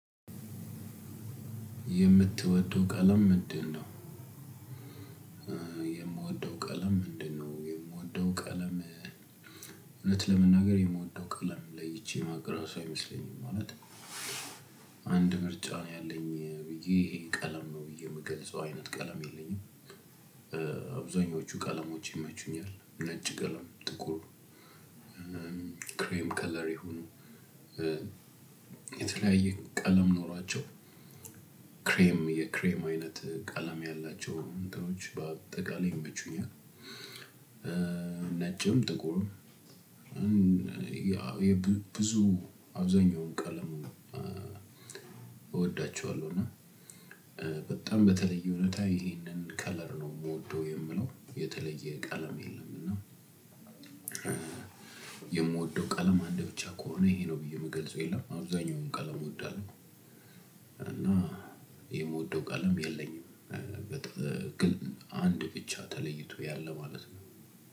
የምትወደው ቀለም ምንድነው? የምወደው ቀለም ምንድነው የምወደው ቀለም እውነት ለመናገር የምወደው ቀለም ለይቼ ማቅራሱ አይመስለኝም ማለት አንድ ምርጫ ነው ያለኝ ብዬ ይሄን ቀለም ነው ብዬ የምገልጸው አይነት ቀለም የለኝም። አብዛኞቹ ቀለሞች ይመቹኛል ነጭ ቀለም ጥቁር ክሬም ከለር ይሁኑ የተለያየ ቀለም ኖሯቸው ክሬም የክሬም አይነት ቀለም ያላቸው እንትኖች በአጠቃላይ ይመቹኛል። ነጭም ጥቁርም። ያው ብዙ አብዛኛውን ቀለም እወዳቸዋለሁ። እና በጣም በተለይ ሁኔታ ይሄንን ከለር ነው የምወደው የምለው የተለየ ቀለም የለም። እና የምወደው ቀለም አንድ ብቻ ከሆነ ይሄ ነው ብዬ የምገልጸው የለም። አብዛኛውን ቀለም እወዳለሁ። እና የምወደው ቀለም የለኝም። ግን አንድ ብቻ ተለይቶ ያለ ማለት ነው።